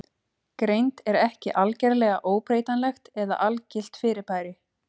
Greind er ekki algerlega óbreytanlegt eða algilt fyrirbæri.